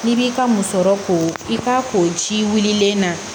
N'i b'i ka musɔrɔ ko i k'a ko ji wililen na